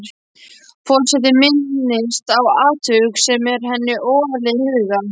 Forseti minnist á atvik sem er henni ofarlega í huga.